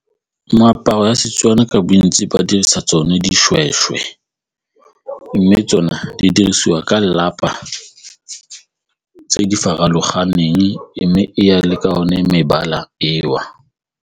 Moaparo wa Setswana ka bontsi ba dirisa tsone dishweshwe mme tsona di dirisiwa ka tse di farologaneng mme e ya le ka one mebala eo.